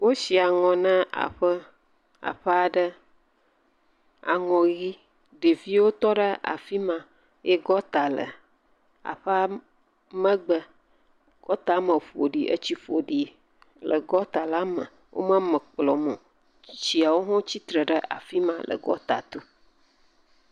wosi anɔ nɛ aƒe aɖe. Aŋɔ ɣi. Ɖeviwo tɔ ɖe afima eye gɔta le aƒea megbe. Gɔta me ƒoɖi, etsi ƒoɖi le gɔta la me. Wo me eme kplɔ o. Tsitsiawo tsitre ɖe fima le gɔta tɔ.